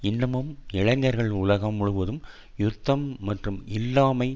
இன்னமும் இளைஞர்கள் உலகம் முழுவதும் யுத்தம் மற்றும் இல்லாமை